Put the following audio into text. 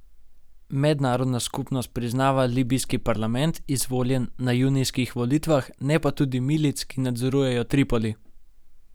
Mednarodna skupnost priznava libijski parlament, izvoljen na junijskih volitvah, ne pa tudi milic, ki nadzorujejo Tripoli.